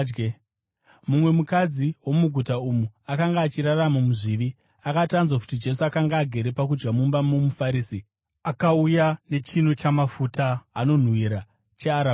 Mumwe mukadzi womuguta umu akanga achirarama muzvivi akati anzwa kuti Jesu akanga agere pakudya mumba momuFarisi, akauya nechinu chamafuta anonhuhwira chearabhasta,